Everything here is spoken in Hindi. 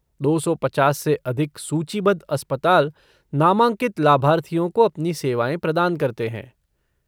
दो सौ पचास से अधिक सूचीबद्ध अस्पताल नामांकित लाभार्थियों को अपनी सेवाएँ प्रदान करते हैं।